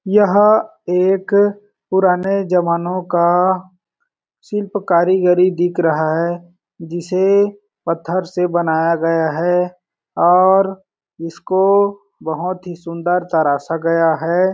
यह एक पुराने जमानों का शिल्प कारीगिरी दिखा रहा है जिसे पत्थर से बनाया गया है और इसको बहुत ही सुन्दर तराशा गया हैं।